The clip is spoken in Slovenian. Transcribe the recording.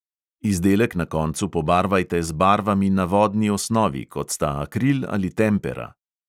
Izdelek na koncu pobarvajte z barvami na vodni osnovi, kot sta akril ali tempera.